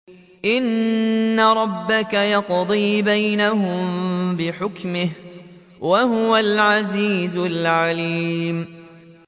إِنَّ رَبَّكَ يَقْضِي بَيْنَهُم بِحُكْمِهِ ۚ وَهُوَ الْعَزِيزُ الْعَلِيمُ